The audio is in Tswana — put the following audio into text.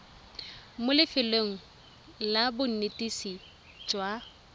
mo lefelong la bonetetshi jwa